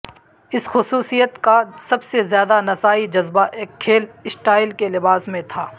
اس خصوصیت کا سب سے زیادہ نسائی جذبہ ایک کھیل سٹائل کے لباس میں تھا